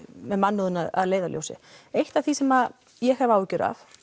með mannúðina að leiðarljósi eitt af því sem ég hef áhyggjur af